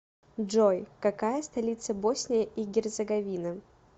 джой какая столица босния и герцеговина